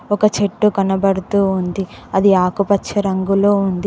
ఒక చెట్టు కనబడుతూ ఉంది అది ఆకుపచ్చ రంగులో ఉంది.